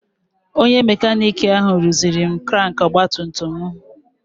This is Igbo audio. Onye makanik ahụ rụziri m krank ọgbatumtum m.